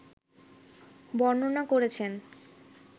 বর্ণনা করেছেন